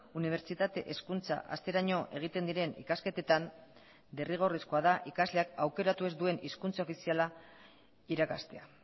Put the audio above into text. unibertsitate hezkuntza hasteraino egiten diren ikasketetan derrigorrezkoa da ikasleak aukeratu ez duen hizkuntza ofiziala irakastea